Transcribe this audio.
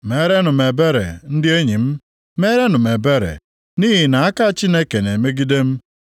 “Meerenụ m ebere, ndị enyi m, meerenụ m ebere, nʼihi na aka Chineke na-emegide m.